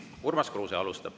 Urmas Kruuse alustab.